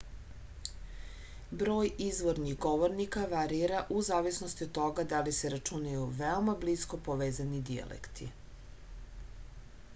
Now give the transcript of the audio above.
broj izvornih govornika varira u zavisnosti od toga da li se računaju veoma blisko povezani dijalekti